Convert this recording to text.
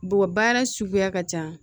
Bɔgɔ baara suguya ka ca